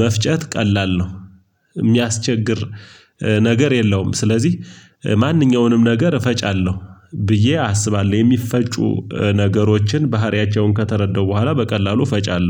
መፍጨት ቀላል ነው። የሚያስቸግር ነገር የለውም። ስለዚህ ማንኛውንም ነገር ፈጫለሁ ብዬ አስባለሁ የሚፈጩ ነገሮችን ባህሪያቸውን ከተረዳው በኋላ በቀላሉ እፈጫለሁ